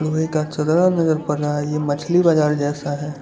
वहीं नजर पड़ रहा है ये मछली बाजार जैसा है।